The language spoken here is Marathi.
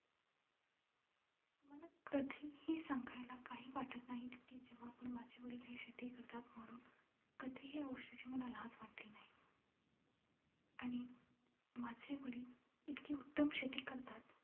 मला कधीही सांगायला काही वाटत नाही की, जेव्हा पण माझे वडील हे शेती करतात म्हणून कधीही मला या गोष्टीची मला लाज वाटली नाही आणि माझे वडील इतकी उत्तम शेतकरी करतात.